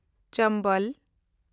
ᱪᱚᱢᱵᱚᱞ